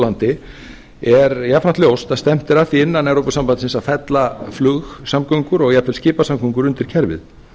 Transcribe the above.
á landi er jafnframt ljóst að stefnt er að því innan evrópusambandsins að fella flugsamgöngur og jafnvel skipasamgöngur undir kerfið